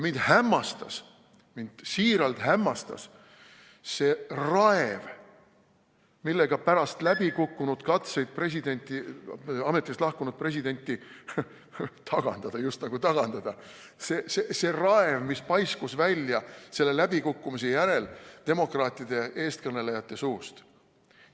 Mind hämmastas, mind siiralt hämmastas see raev, mis pärast läbikukkunud katseid presidenti, ametist lahkunud presidenti tagandada, just nagu tagandada, paiskus selle läbikukkumise järel välja demokraatide eestkõnelejate suust.